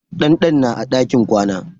Dandan na a ɗakin kwana.